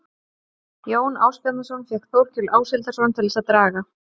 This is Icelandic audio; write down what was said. Jón Ásbjarnarson fékk Þórkel Áshildarson til þess að draga